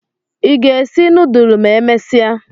I ga esi nudulu ma emesia?